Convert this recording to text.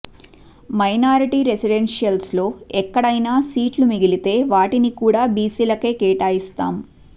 minority residentials లో ఎక్కడైనా సీట్లు మిగిలితే వాటిని కూడా బిసిలకే కేటాయిస్తాం